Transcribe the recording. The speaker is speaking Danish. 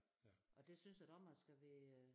Og det synes jeg da også man skal være